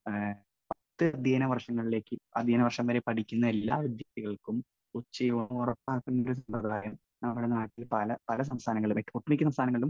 speaker 1 പത്ത് അധ്യയന വർഷങ്ങളിലേയ്ക്കും, അധ്യയന വർഷം വരെ പഠിക്കുന്ന എല്ലാ വിദ്യാർത്ഥികൾക്കും ഉച്ചയൂണ് ഉറപ്പാക്കുന്ന ഒരു സമ്പ്രദായം നമ്മുടെ നാട്ടിൽ പല സംസ്ഥാനങ്ങളിലും, ഒട്ടുമിക്ക സംസ്ഥാനങ്ങളിലും